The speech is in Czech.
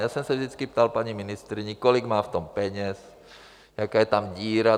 Já jsem se vždycky ptal paní ministryně, kolik má v tom peněz, jaká je tam díra.